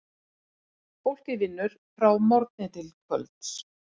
Fólkið vinnur frá morgni til kvölds.